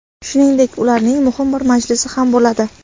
Shuningdek, ularning muhim bir majlisi ham bo‘ladi.